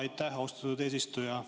Aitäh, austatud eesistuja!